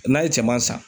N'a ye cɛman san